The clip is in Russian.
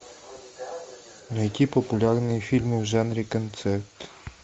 найти популярные фильмы в жанре концерт